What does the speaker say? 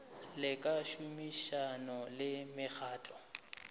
le ka tšhomišano le mekgatlo